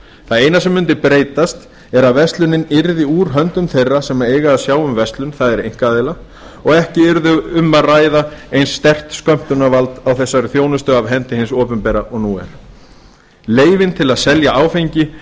það eina sem mundi breytast er að verslunin yrði úr höndum þeirra sem eiga að sjá um verslun það er einkaaðila og ekki yrði um að ræða eins sterkt skömmtunarvald á þessari þjónustu af hendi hins opinbera og nú er leyfin til að selja áfengi